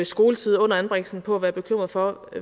skoletid under anbringelsen på at være bekymret for